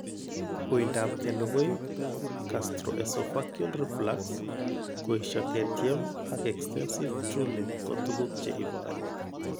Uindap kelukui, gastroesophageal reflux, koesio ketyem ak extensive drooling ko tuguk che iporu.